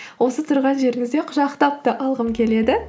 осы тұрған жеріңізде құшақтап та алғым келеді